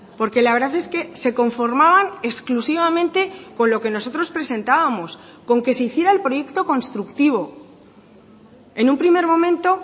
porque la verdad es que se conformaban exclusivamente con lo que nosotros presentábamos con que se hiciera el proyecto constructivo en un primer momento